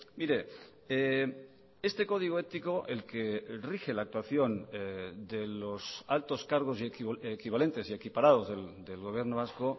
mire este código ético el que rige la actuación de los altos cargos y equivalentes y equiparados del gobierno vasco